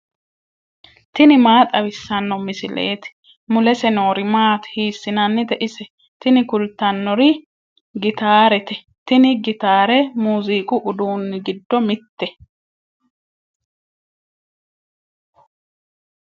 tini maa xawissanno misileeti ? mulese noori maati ? hiissinannite ise ? tini kultannori gitarete. tini gitaare muuziiqu uduunni giddo mitte.